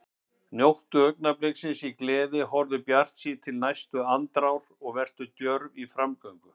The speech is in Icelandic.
Njóttu augnabliksins í gleði, horfðu bjartsýn til næstu andrár og vertu djörf í framgöngu.